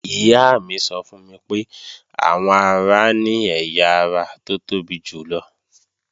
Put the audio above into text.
Ìyá mi sọ fún mi pé àwọ ara ni ẹ̀yà ara tó tóbi jùlọ